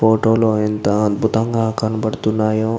Photo లో ఎంత అర్బుతంగా కానబడుతున్నాయో.